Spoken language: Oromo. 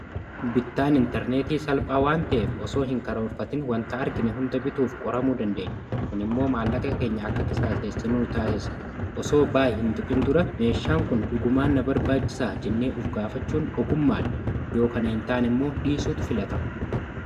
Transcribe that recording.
Bittaan intarneetii salphaa waan ta'eef osoo hin karoorfatiin wantaa argiinee hundaa bituuf qoramuu dandeenya. kun immoo maallaqa keenya akka qisaaseessenu taasissa osoo baaye hin tuqiin dura meeshaan kun dhugumaan barbaachisaa jennee of gaafachuun ogummaa dha yoo kana hin taane immoo dhiisuutu filatamaa.